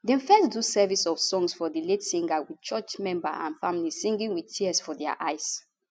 dem first do service of songs for di late singer wit church member and families singing wit tears for dia eyes